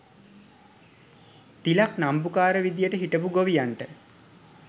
තිලක් නම්බුකාර විදියට හිටපු ගොවියන්ට